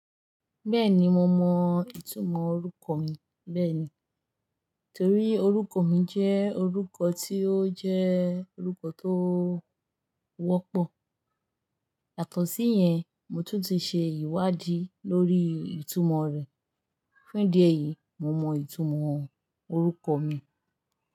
Bẹ́ẹ̀ni mo mọ ìtumọ̀ orúkọ mi bẹ́ẹ̀ni. Nítorí orúkọ mi jẹ́ orúkọ tí ó jẹ́ orúkọ tó wọ́pọ̀. Yàtọ̀ sí yẹn, mo tún ti ṣe ìwádìí lórí ìtumọ̀ rẹ̀. Fún ìdí èyí, mo mọ ìtumọ̀ orúkọ mi.